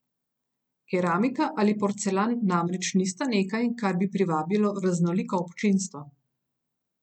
Keramika ali porcelan namreč nista nekaj, kar bi privabilo raznoliko občinstvo.